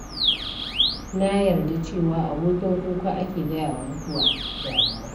Na yar da cewa abokin kuka ake gaya wa mutuwa (damuwa).